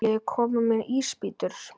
Viljiði koma með í ísbíltúr?